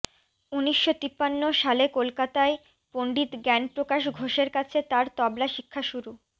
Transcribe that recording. উনিশশো তিপান্ন সালে কলকাতায় পণ্ডিত জ্ঞানপ্রকাশ ঘোষের কাছে তাঁর তবলা শিক্ষা শুরু